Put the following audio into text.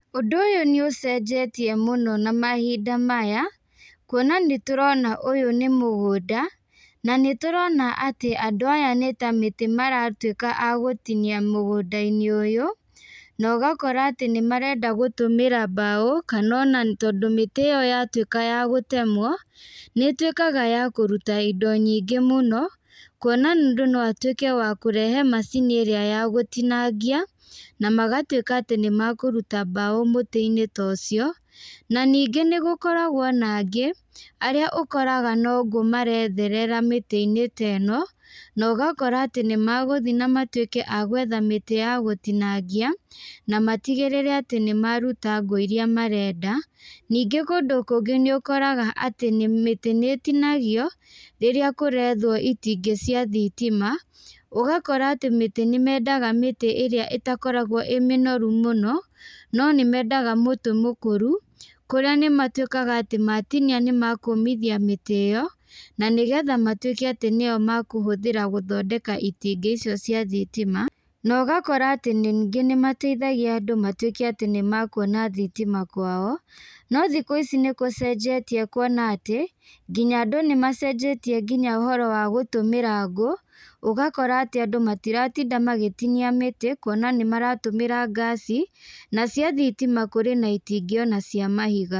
Ũndũ ũyũ nĩ ũcenjetie mũno na mahinda maya, kuona nĩ tũrona ũyũ nĩ mũgũnda, na nĩ tũrona atĩ andũ aya nĩ ta mĩtĩ maratuĩka a gũtinia mũgũnda-inĩ ũyũ, na ũgakora atĩ nĩ marenda gũtũmĩra mbaũ, kana ona tondũ mĩtĩ ĩyo yatuĩka ya gũtemwo, nĩ ĩtuĩkaga ya kũruta indo nyingĩ mũno, kuona mũndũ no atuĩke ya kũrehe macini ĩrĩa ya gũtinangĩa, na magatuĩka atĩ nĩ mekũruta mbaũ mũtĩ-inĩ ta ũcio, na ningĩ nĩ gũkoragwo na angĩ, arĩa ũkoraga no ngũ maretherera mĩtĩ-inĩ teno, na ũgakora atĩ nĩ megũthiĩ na matuĩke agwetha mĩtĩ ya gũtinangia, na matigĩrĩre atĩ nĩ maruta ngũ iria marenda, ningĩ kũndũ kũngĩ nĩ ũkoraga atĩ nĩ mĩtĩ nĩ ĩtinagio, rĩrĩa kũrethwo itingĩ cia thitima, ũgakora atĩ mĩtĩ nĩ mendaga mĩtĩ ĩrĩa ĩtakoragwo ĩ mĩnoru mũno, no nĩ mendaga mũtĩ mũkũru, kũrĩa nĩ matuĩkaga atĩ matinia nĩ mekũmithia mĩtĩ ĩyo, na nĩgetha matuĩke atĩ nĩyo mekũhũthĩra gũthondeka itingĩ icio cia thitima, na ũgakora atĩ ningĩ nĩ mateithagia andũ matuĩke atĩ nĩ mekuona thitima kwao, no thikũ ici nĩ gũcenjetie kũona atĩ, nginya andũ nĩ macenjetie ngina ũhoro wa gũtũmĩra ngũ, ũgakora atĩ andũ matiratinda magĩtinia mĩtĩ, kuona nĩ maratũmĩra ngaci, nacio thitima kũrĩ na itingĩ ona cĩa mahiga.